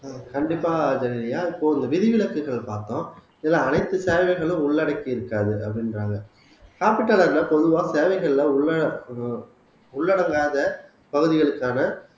கண்டிப்பா ஜெனிலியா இப்போ இந்த விதிவிலக்குகள் பார்த்தோம் இதுல அனைத்து சேவைகளும் உள்ளடக்கி இருக்காது அப்படின்றாங்க காப்பீட்டாளர்கள் பொதுவா தேவைகள்ல உள்ள ஒரு உள்ளடங்காத பகுதிகளுக்கான